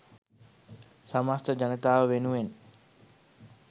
සමස්ත ජනතාව වෙනුවෙන්